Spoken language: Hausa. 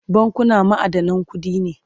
bankuna ma'adanan kuɗi ne